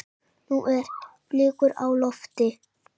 Nú eru blikur á lofti.